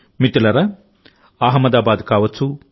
మిత్రులారాఅహ్మదాబాద్ కావచ్చు